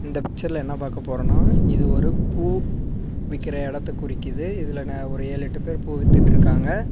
இந்த பிச்சர்ல என்ன பாக்க போறோன்னா. இது ஒரு பூ விக்கற எடத்த குறிக்குது இதுல ந ஒரு ஏழு எட்டு பேர் பூ வித்துட்ருக்காங்க.